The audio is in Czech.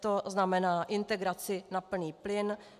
To znamená integraci na plný plyn.